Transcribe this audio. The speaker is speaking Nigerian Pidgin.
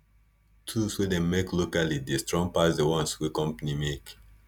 tools wey dem make locally dey strong pass di ones wey company make